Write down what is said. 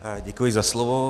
Děkuji za slovo.